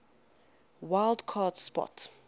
wild card spot